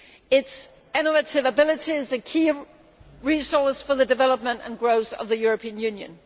Its innovative abilities are a key resource for the development and growth of the European Union.